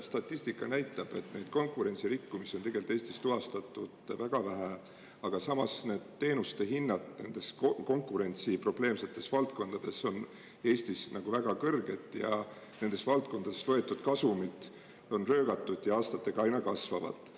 Statistika näitab, et neid konkurentsirikkumisi on tegelikult Eestis tuvastatud väga vähe, aga samas need teenuste hinnad nendes konkurentsi probleemsetes valdkondades on Eestis väga kõrged ja nendes valdkondades võetud kasumid on röögatud ja aastatega aina kasvavad.